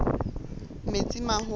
metsimaholo